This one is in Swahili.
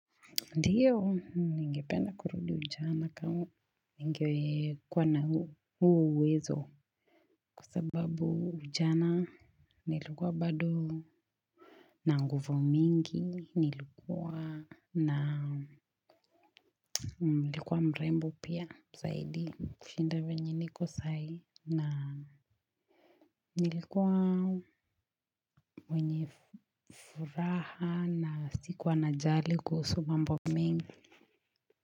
Ndio, ningependa kurudi ujana kama, ningekuwa kuwa na huo uwezo kwa sababu ujana nilikuwa bado na nguvu mingi, nilikuwa na nilkuwa mrembo pia zaidi kushinda venye niko saa hiii na nilikuwa mwenye furaha na si kuwa najali kuhusu mambo mengi.